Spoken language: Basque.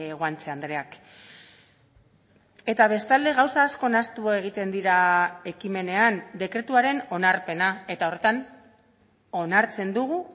guanche andreak eta bestalde gauza asko nahastu egiten dira ekimenean dekretuaren onarpena eta horretan onartzen dugu